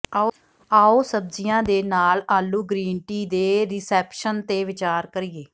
ਆਉ ਸਬਜ਼ੀਆਂ ਦੇ ਨਾਲ ਆਲੂ ਗ੍ਰੀਨਟੀ ਦੇ ਰਿਸੈਪਸ਼ਨ ਤੇ ਵਿਚਾਰ ਕਰੀਏ